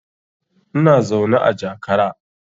Ina zaune a jakara